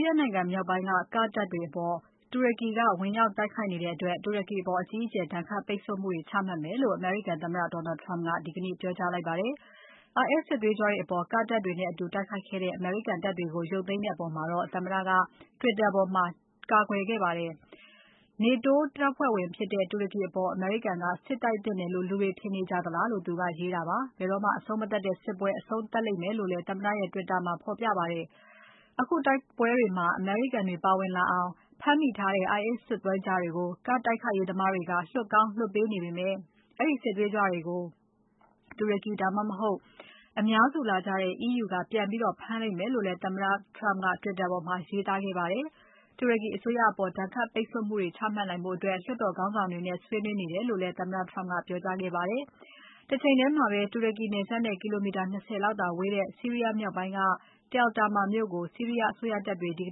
ီးယားနိုင်ငံမြောက်ပိုင်းက Kurd တပ်တွေအပေါ် တူရကီဝင်ရောက်တိုက်ခိုက်ခဲ့တဲ့အတွက် တူရကီအပေါ် အကြီးအကျယ် ဒဏ်ခတ်ပိတ်ဆို့မှုတွေ ချမှတ်မယ်လို့ အမေရိကန်သမ္မတ Donald Trump ကဒီကနေ့ ကတိပြုလိုက်ပါတယ်။ IS စစ်သွေးကြွတွေအပေါ် Kurd တပ်တွေနဲ့အတူတိုက်ခိုက်ခဲ့တဲ့ အမေရိကန်တပ်တွေကို ရုပ်သိမ်းတဲ့အပေါ်မှာတော့ သမ္မတက Twitter ပေါ်မှာ ကာကွယ်ပြောကြားခဲ့ပါတယ်။ NATO တပ်ဖွဲ့ဝင်ဖြစ်တဲ့ တူရကီအပေါ် အမေရိကန်က စစ်တိုက်သင့်တယ်လို့ လူတွေထင်နေကြသလားလို့ ရေးသားတာပါ။ ဘယ်တော့မှ အဆုံးမသတ်တဲ့စစ်ပွဲ အဆုံးသတ်လိမ့်မယ်လို့လည်း သမ္မတရဲ့ Tweet မှာဖော်ပြပါတယ်။ အခုတိုက်ပွဲတွေမှာ အမေရိကန်တွေ ပါဝင်လာအောင် ဖမ်းမိထားတဲ့ IS စစ်သွေးကြွတွေကို Kurd တိုက်ခိုက်ရေး သမားတွေက လွှတ်ကောင်းလွှတ်ပေးနေပေမဲ့ အဲဒီစစ်သွေးကြွတွေကို တူရကီ ဒါမှမဟုတ် အများစုလာကြတဲ့ EU က ပြန်ဖမ်းလိမ့်မယ်လို့လည်း သမ္မတ Trump က Twitter ပေါ်မှာ ရေးသားခဲ့ပါတယ်။ တူရကီအစိုးရအပေါ် ဒဏ်ခတ်ပိတ်ဆို့မှုတွေ ချမှတ်နိုင်ဖို့ လွှတ်တော်ခေါင်းဆောင်တွေနဲ့ ဆွေးနွေးနေတယ်လို့လည်း သမ္မတက ပြောကြားထားပါတယ်။ တချိန်တည်းမှာပဲ တူရကီနယ်စပ်နဲ့ ကီလို ၂၀ လောက်သာဝေးတဲ့ ဆီးရီးယား Tal Tamr မြို့ကို ဆီးရီးယားအစိုးရတပ်တွေ ဒီက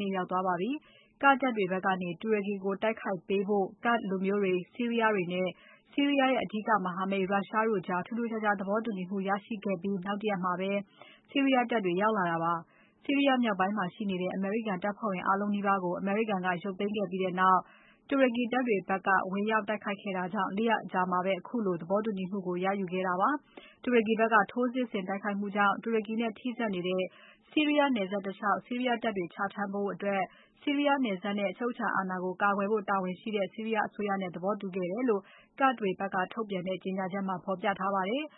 နေ့ ရောက်သွားပါပြီ။ Kurd တပ်တွေဖက်ကနေ တူရကီကို တိုက်ခိုက်ပေးဖို့ Kurd လူမျိုးတွေ၊ ဆီးရီးယားတွေနဲ့ ဆီးရီယားရဲ့ အဓိကမဟာမိတ် ရုရှားတို့ကြား ထူးထူးခြားခြား သဘောတူညီမှု ရရှိခဲ့ပြီးနောက် ၁ ရက်မှာပဲ ဆီးရီးယားတပ်တွေ ရောက်လာတာဖြစ်ပါတယ်။ ဆီးရီးယားမြောက်ပိုင်းမှာရှိနေတဲ့ အမေရိကန်တပ်ဖွဲ့ဝင်အားလုံးနီးပါးကို အမေရိကန်က ရုပ်သိမ်းခဲ့ပြီးနောက် တူရကီတပ်တွေဘက်က ဝင်ရောက် တိုက်ခိုက်ခဲ့တာကြောင့် ၄ ရက်အကြာမှာ ခုလို သဘောတူညီမှု ရယူခဲ့တာပါ။တူရကီဘက်က ထိုးစစ်ဆင်တိုက်ခိုက်မှုကြောင့် တူရကီနဲ့ ထိဆက်နေတဲ့ ဆီးရီယားနယ်စပ်တလျှောက် ဆီးရီးယားတပ်တွေချထားဖို့အတွက် ဆီရီးယားနယ်စပ်နဲ့ အချုပ်အခြာအာဏာကို ကာကွယ်ဖို့တာဝန်ရှိတဲ့ ဆီးရီးယားအစိုးရနဲ့ သဘောတူခဲ့တယ်လို့ Kurd တွေဖက်က ထုတ်ပြန်တဲ့ ကြေညာချက်ထဲမှာ ဖော်ပြထားပါတယ်။